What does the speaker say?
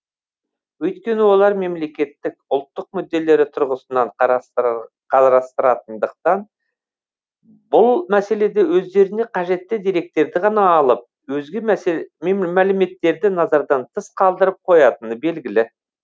өйткені олар мемлекеттік ұлттық мүдделері тұрғысынан қарастыратындықтан бұл мәселеде өздеріне қажетті деректерді ғана алып өзге мәліметтерді назардан тыс қалдырып қоятыны белгілі